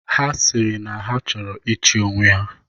Ha sịrị na ha chọrọ ịchị onwe ha.